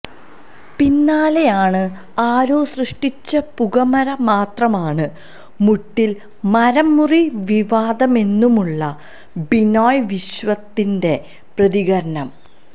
പിന്നാലെയാണ് ആരോ സൃഷ്ടിച്ച പുകമറ മാത്രമാണ് മുട്ടില് മരംമുറി വിവാദമെന്നുമുള്ള ബിനോയ് വിശ്വത്തിന്റെ പ്രതികരണം